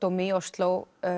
borgardómi í Osló